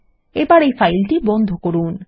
এবার এই ফাইলটি বন্ধ করুন